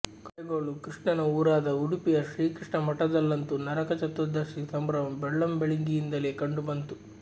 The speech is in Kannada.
ಕಡೆಗೋಲು ಕೃಷ್ಣನ ಊರಾದ ಉಡುಪಿಯ ಶ್ರೀಕೃಷ್ಣ ಮಠದಲ್ಲಂತೂ ನರಕ ಚತುರ್ದಶಿ ಸಂಭ್ರಮ ಬೆಳ್ಳಂಬೆಳಿಗ್ಗೆಯಿಂದಲೇ ಕಂಡುಬಂತು